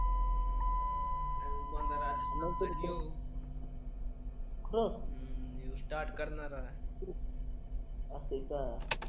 नंतर जेऊ खरच हम्म यो स्टार्ट करणारा असेल का